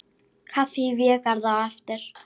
Kaffi í Végarði á eftir.